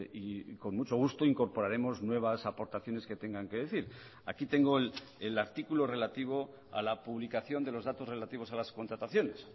y con mucho gusto incorporaremos nuevas aportaciones que tengan que decir aquí tengo el artículo relativo a la publicación de los datos relativos a las contrataciones